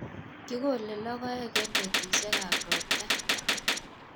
Kikole logoek eng' petushek ab ropta